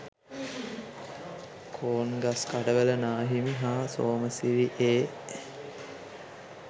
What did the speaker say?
කෝන්ගස්කඩවල නාහිමි හා සෝමසිරි ඒ.